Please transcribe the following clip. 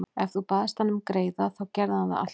Ef þú baðst hann um greiða þá gerði hann það alltaf.